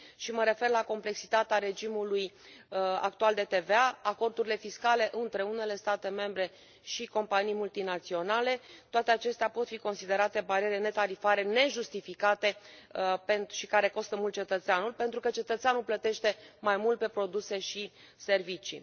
și mă refer la complexitatea regimului actual de TVA, acordurile fiscale între unele state membre și companii multinaționale, toate acestea pot fi considerate bariere netarifare, nejustificate și care costă mult cetățeanul pentru că cetățeanul plătește mai mult pe produse și servicii.